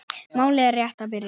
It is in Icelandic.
Málið er rétt að byrja.